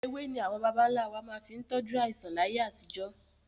Ewé ni àwọn bàbà ń lá wá fi máa ń tọju àìsàn láyé àtijọ́